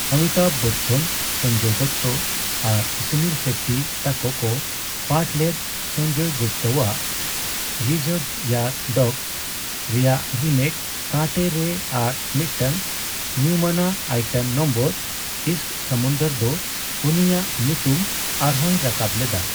ᱚᱢᱤᱛᱟᱵᱷ ᱵᱚᱪᱪᱚᱱ, ᱥᱚᱧᱡᱚᱭ ᱫᱚᱛᱛᱚ, ᱟᱨ ᱥᱩᱱᱤᱞ ᱥᱮᱴᱴᱤ ᱛᱟᱠᱚ ᱠᱚ ᱯᱟᱴᱷᱞᱮᱫ ᱥᱚᱧᱡᱚᱭ ᱜᱩᱯᱛᱟᱣᱟᱜ 'ᱨᱤᱡᱟᱨᱵᱷᱭᱟᱨ ᱰᱚᱜᱥ' ᱨᱮᱭᱟᱜ ᱨᱤᱢᱮᱹᱠ 'ᱠᱟᱱᱴᱮ' ᱨᱮ ᱟᱨ ᱢᱤᱫᱴᱟᱝ ᱧᱩᱢᱟᱱᱟᱜ ᱟᱭᱴᱮᱢ ᱱᱚᱢᱵᱚᱨ 'ᱤᱥᱠ ᱥᱚᱢᱩᱱᱫᱚᱨ' ᱫᱚ ᱩᱱᱤᱭᱟᱜ ᱧᱩᱛᱩᱢ ᱟᱨᱦᱚᱸᱭ ᱨᱟᱠᱟᱵ ᱞᱮᱫᱟ ᱾